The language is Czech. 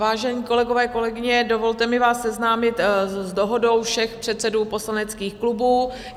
Vážení kolegové, kolegyně, dovolte mi vás seznámit s dohodou všech předsedů poslaneckých klubů.